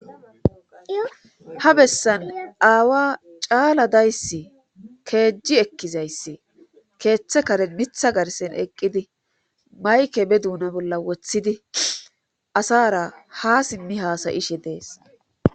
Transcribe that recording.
ha bessan aawa caala dayssi keejji ekkizayssi keeththe karen mitha garsen eqqidi mayke be duuna bolla woththidi asara ha simmi haasayishe dees